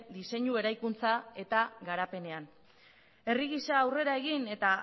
diseinu eraikuntza eta garapenean herri gisa aurrera egin eta